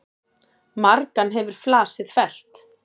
Margan hefur flasið fellt.